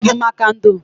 Ụlọ bụ maka ndo.